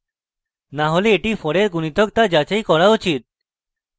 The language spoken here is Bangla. না হলে এটি 4 এর গুনিতক তা যাচাই করা উচিত